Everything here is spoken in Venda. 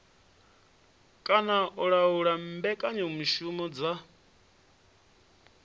kana u laula mbekanyamushumo dza